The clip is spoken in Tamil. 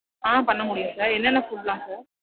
ஆஹ் பண்ண முடியும் sir. என்னென்ன food லாம் sir?